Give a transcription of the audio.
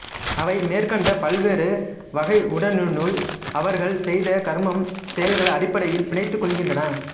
அவை மேற்கண்ட பல்வேறு வகை உடலினுள் அவர்கள் செய்த கருமம் செயல்கள் அடிப்படையில் பிணைத்துக்கொள்கின்றன